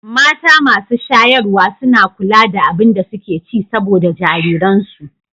Mata masu shayarwa suna kula da abin da suke ci saboda jariransu.